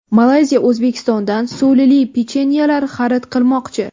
Malayziya O‘zbekistondan sulili pechenyelar xarid qilmoqchi.